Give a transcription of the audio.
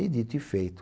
E dito e feito.